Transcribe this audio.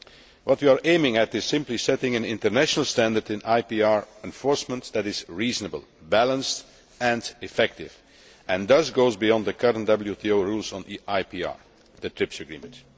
What we are aiming at is simply setting an international standard in IPR enforcement that is reasonable, balanced and effective, and thus goes beyond the current WTO rules on IPR the TRIPS agreement.